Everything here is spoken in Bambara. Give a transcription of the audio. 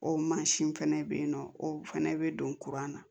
O mansin fɛnɛ bɛ yen nɔ o fana bɛ don kuran na